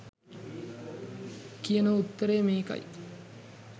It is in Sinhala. කියන උත්තරය මේකයි